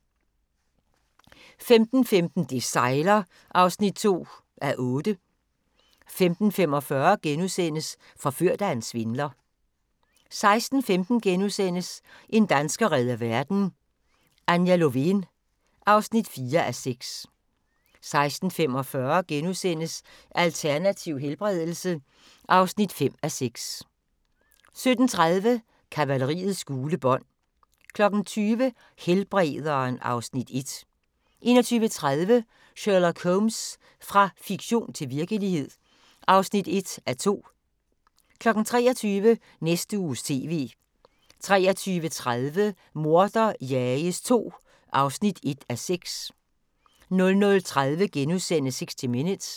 15:15: Det sejler (2:8) 15:45: Forført af en svindler (5:6)* 16:15: En dansker redder verden - Anja Lovén (4:6)* 16:45: Alternativ helbredelse (5:6)* 17:30: Kavaleriets gule bånd 20:00: Helbrederen (Afs. 1) 21:30: Sherlock Holmes – fra fiktion til virkelighed (1:2) 23:00: Næste Uges TV 23:30: Morder jages II (1:6) 00:30: 60 Minutes *